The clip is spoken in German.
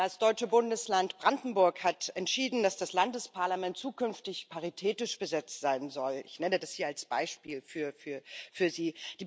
Das deutsche Bundesland Brandenburg hat entschieden, dass das Landesparlament zukünftig paritätisch besetzt sein soll. Ich nenne das hier als Beispiel für Sie.